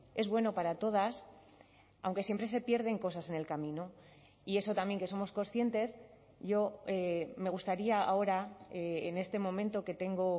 es bueno para todas aunque siempre se pierden cosas en el camino y eso también que somos conscientes yo me gustaría ahora en este momento que tengo